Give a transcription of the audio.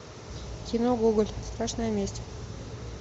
кино гоголь страшная месть